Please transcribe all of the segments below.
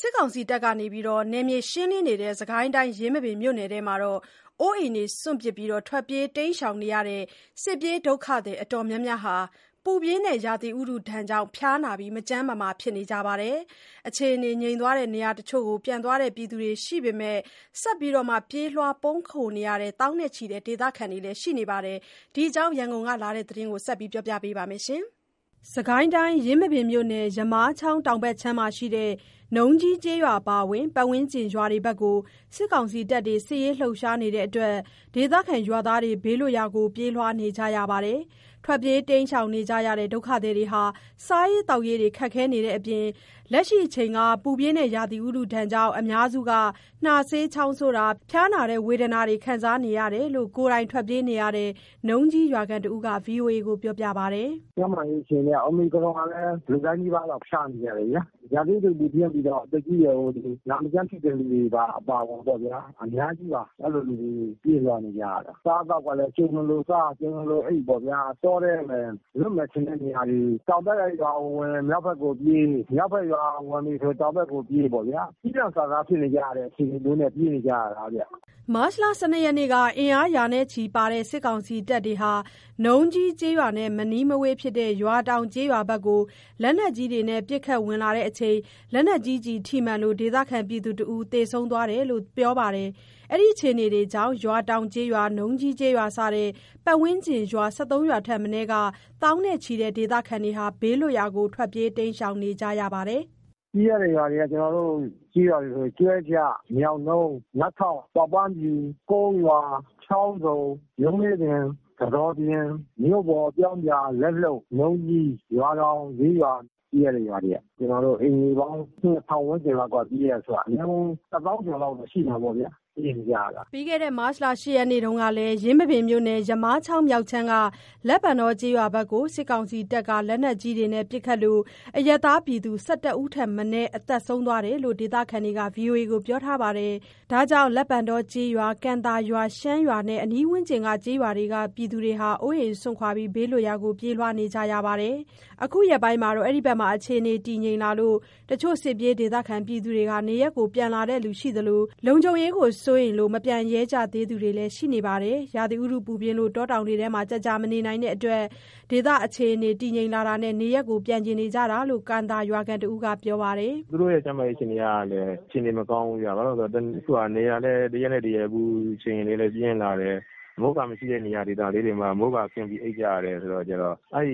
စစ်ကောင်စီတပ်တွေ နယ်မြေရှင်းလင်းနေတဲ့ စစ်ကိုင်းတိုင်း ယင်းမာပင်မြို့နယ်ထဲမှာ အိုးအိမ်စွန့်ပစ် ထွက်ပြေးနေကြရတဲ့ စစ်ပြေးဒုက္ခသည်တော်တော်များများ ပူပြင်းတဲ့ရာသီဥတုကြောင့် ဖျားနာ၊ မကျန်းမမာဖြစ်နေကြပါတယ်။ အခြေအနေငြိမ်သွားတဲ့ နေရာတချို့ဆီ ပြန်သွားသူတွေရှိသလို ဆက်လက်ပြေးလွှား ပုန်းခိုနေကြရတဲ့ သောင်းနဲ့ချီတဲ့ ဒေသခံတွေလည်း ရှိနေပါတယ်။ ဒီအကြောင်း ရန်ကုန်ကလာတဲ့ သတင်းကို မဆုမွန်ပြောပြပါမယ်။ ယင်းမာပင်မြို့နယ် ယမားချောင်းတောင်ဘက်ခြမ်းမှာရှိတဲ့ နုံကြီးကျေးရွာအပါအဝင် ပတ်ဝန်းကျင်ရွာတွေဘက်မှာ စစ်ကောင်စီတပ်တွေ စစ်ရေးလှုပ်ရှားနေတဲ့အတွက် ဒေသခံရွာသားတွေ ဘေးလွတ်ရာကို ပြေးလွှားနေကြရပါတယ်။ ထွက်ပြေး ပုန်းရှောင်နေကြရတဲ့ ဒုက္ခသည်တွေဟာ စားရေးသောက်ရေး ခက်ခဲတဲ့အပြင် လက်ရှိအချိန်မှာ ပူပြင်းတဲ့ ရာသီဥတုဒဏ်ကြောင့် အများစုက နှားစေး၊ ချောင်းဆိုတာ ဖျားတာနာတာ ခံစားနေကြရတယ်လို့ ကိုယ်တိုင်ထွက်ပြေးနေရတဲ့ နုံကြီးရွာခံတဦးက ဗွီအိုအေကို ပြောပါတယ်။ “ကျန်းမာရေးအခြေအနေက အိုမီခရွန်ကလည်း လူတိုင်းနီးပါးလောက် ဖျားနေကြတယ်ဗျာ။ ရာသီဥတုပူပြင်းပြီးတော့ အသက်ကြီးရွယ်အိုတွေ နာမကျန်းဖြစ်တဲ့လူတွေပါ အပါအဝင်ပေါ့နော်ဗျာ အများကြီးပါ၊ အဲ့လိုလူတွေ ပြေးလွှားနေကြရတာ၊ အစားအသောက်ကလည်း အချိန်မလိုစား၊ အချိန်မလိုအိပ်ပေါ့ဗျာ၊ တောထဲမယ် လွတ်မယ်ထင်တဲ့နေရာတွေကို တောင်ဘက်က ရွာကို ဝင်ရင် မြောက်ဖက်ကိုပြေး၊ မြောက်ဖက်ရွာဝင်ပြီးဆိုရင် တောင်ဘက်ကိုပြေးပေါ့ဗျာ။ ကျီလန့်စာစားဖြစ်နေကြတဲ့ အခြေအနေမျိုးနဲ့ ပြေးနေကြရတာဗျ။” မတ်လ ၁၂ ရက်နေ့က အင်အားရာချီပါတဲ့ စစ်ကောင်စီတပ်တွေဟာ နုံကြီးကျေးရွာနဲ့ မနီးမဝေးဖြစ်တဲ့ ရွာတောင်ကျေးရွာဘက်ကို လက်နက်ကြီးတွေနဲ့ ပစ်ခတ်ဝင်လာချိန်မှာ လက်နက်ကြီးကျည်ထိမှန်လို့ ဒေသခံတဦး သေဆုံးသွားတယ်လို့လည်း ပြောပါတယ်။ ဒီအခြေအနေတွေကြောင့် ရွာတောင်ကျေးရွာ၊ နုံကြီးကျေးရွာစတဲ့ ပတ်ဝန်းကျင်ရွာ ၁၃ ရွာထက်မနည်းက သောင်းနဲ့ချီတဲ့ ဒေသခံတွေ ဘေးလွတ်ရာကို ထွက်ပြေးတိမ်းရှောင်နေကြရပါတယ်။ “ပြေးရတဲ့ ရွာတွေက ကျနော်တို့ ကျေးရွာတွေဆိုရင် ကျွဲကျ၊ ညောင်နှုန်း၊ မတ်ထောက်၊ ပေါက်ပန်းဖြူ၊ ကုန်းရွာ၊ ချောင်းဆုံ၊ ရုံလေးပင်၊ ကဆောပြင်၊ မြို့ပေါ်၊ ပြောင်းပြာ၊ လက်လုပ်၊ နုံကြီး၊ ရွာတောင် ၄ရွာ ပြေးရတဲ့ ရွာတွေက၊ ကျနော်တို့ အိမ်ခြေ ၂,၀၀၀ ဝန်းကျင်လောက်က ပြေးရတယ်ဆိုက အများဆုံး ၁၀,၀၀၀ ကျော်လောက်က ရှိမှာပေါ့ဗျာ ပြေးနေကြရတာ။” မတ် ၈ ရက်နေ့တုန်းကလည်း ယင်းမာပင်မြို့နယ် ယမားချောင်းမြောက်ခြမ်းက လက်ပံတောကျေးရွာဘက်ကို စစ်ကောင်စီတပ်က လက်နက်ကြီးတွေနဲ့ ပစ်ခတ်လို့ အရပ်သားပြည်သူ ၁၁ ဦးထက်မနည်း သေဆုံးသွားတယ်လို့ ဒေသခံတွေက ဗွီအိုအေကို ပြောထားပါတယ်။ ဒါကြောင့် လက်ပံတောကျေးရွာ၊ ကံသာရွာ၊ ရှမ်းရွာနဲ့ ပတ်ဝန်းကျင်ကလည်း အိုးအိမ်စွန့်ခွာ ဘေးလွတ်ရာကို ပြေးလွှားခဲ့ကြရပါတယ်။ အခုရက်ပိုင်းမှာတော့ အဲဒီဘက် အခြေအနေတည်ငြိမ်လာလို့ တချို့စစ်ပြေးဒေသခံတွေ နေရပ်ကိုပြန်လာတဲ့ သူရှိသလို မပြန်ရဲသေးသူတွေလည်း ရှိနေပါတယ်။ ရာသီဥတုပူပြင်းလို့ တောတောင်တွေထဲ ကြာကြာမနေနိုင်တဲ့အတွက် ဒေသအခြေအနေ တည်ငြိမ်တာနဲ့ နေရပ်ပြန်ချင်ကြတာဖြစ်တယ်လို့ ကံသာရွာခံတဦးက ပြောပြပါတယ်။ “သူတို့ရဲ့ ကျန်းမာရေးအခြေအနေကလည်း အခြေအနေမကောင်းဘူးဗျ၊ ဘာလို့လဲဆိုတော့ အခုက နေရာလည်း တရက်နဲ့ တရက် အပူချိန်တွေလည်း ပြင်းလာတယ်။ အမိုးအကာမရှိတဲ့နေရာဒေသလေးတွေမှာ မိုးကာခင်းပြီး အိပ်ကြရတယ်ဆိုတာကျတော့ အဲ့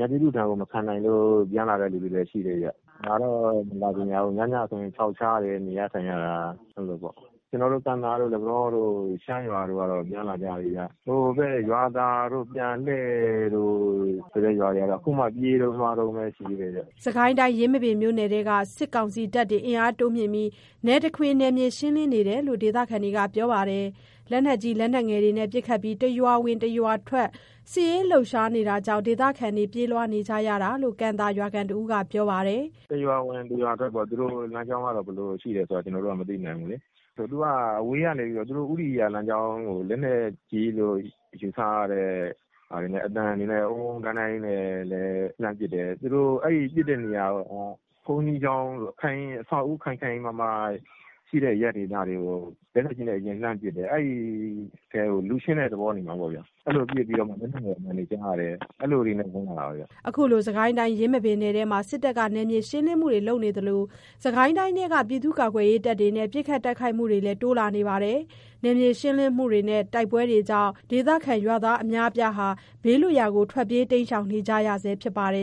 ရာသီဥတုဒဏ်ကို မခံနိုင်လို့ ပြန်လာတဲ့ လူတွေလည်း ရှိတယ်ဗျ။ လာတော့မလာချင်ကြဘူး၊ ညညဆိုခြောက်ချားတယ် နေရထိုင်ရတာ အဲ့လိုပေါ့။ ကျနော်တို့ ကံသာတို့ လက်ပံတောတို့ ရှမ်းရွာတို့ကတော့ ပြန်လာကြပြီးဗျ။ ဟိုဘက် ရွာသာတို့ ပြန်လှည့်တို့ ဒီပြင်ရွာတွေကတော့ အခုမှပြေးတုန်းလွှားတုန်းပဲ ရှိသေးတယ်ဗျ။” စစ်ကိုင်းတိုင်း ယင်းမာပင်မြို့နယ်ထဲမှာ စစ်ကောင်စီတပ်တွေ အင်အားတိုးမြှင့်ပြီး နယ်တခွင် နယ်မြေရှင်းလင်နေတာဖြစ်တယ်လို့ ဒေသခံတွေက ပြောပါတယ်။ လက်နက်ကြီး လက်နက်ငယ်တွေနဲ့ ပစ်ခတ်ပြီး တရွာဝင် တရွာထွက် စစ်ရေးလှုပ်ရှားနေတာကြောင့် ဒေသခံတွေ ပြေးလွှားနေရတာလို့ ကံသာရွာခံတဦးက ပြောပါတယ်။ “တရွာဝင် တရွာထွက်ပေါ့၊ သူတို့လမ်းကြောင်းကတော့ ဘယ်လိုရှိလဲဆိုတာ ကျနော်တို့က မသိနိုင်ဘူးလေး။ သူက အဝေးကနေပြီးတော့ သူတို့ ဦးတည်ရာလမ်းကြောင်းကို လက်နက်ကြီးလို့ ယူဆရတဲ့ ဟာတွေနဲ့ အသံတွေနဲ့ အုန်း…အုန်း…အုန်း…ဒိုင်း…ဒိုင်းကြီးနဲ့လည်း လှမ်းပစ်တယ်။ သူတို့အဲ့ပစ်တဲ့နေရာက ဘုန်းကြီးကျောင်းတို့ အဆောက်အဦးခိုင်ခိုင်မာမာရှိတဲ့ အရပ်ဒေသတွေကို လက်နက်ကြီးနဲ့ အရင်လှမ်းပစ်တယ်။ အဲ့ဒီထဲကို လူရှင်းတဲ့ သဘောနေမှာပေါ့ဗျာ။ အဲ့လိုပစ်ပြီးတော့မှ လက်နက်ငယ်အသံတွေ ကြားရတယ်၊ အဲ့လိုတွေနဲ့ ဝင်လာတာပဲဗျ။” အခုလို စစ်ကိုင်းတိုင်း ယင်းမာပင်နယ်ထဲမှာ စစ်တပ်က နယ်မြေရှင်းလင်းမှုတွေလုပ်နေသလို စစ်ကိုင်းတိုင်းထဲက ပြည်သူ့ကာကွယ်ရေးတပ်တွေနဲ့ ပစ်ခတ်တိုက်ခိုက်မှုတွေလည်း တိုးလာနေပါတယ်။ နယ်မြေရှင်းလင်းမှုတွေ၊ တိုက်ပွဲတွေကြောင့် ဒေသခံရွာသားအများအပြား ဘေးလွတ်ရာပြေးနေကြရဆဲဖြစ်ပါတယ်